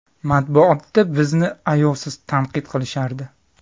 Matbuotda bizni ayovsiz tanqid qilishardi.